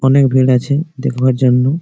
অনেক ভিড় আছে দেখবার জন্য।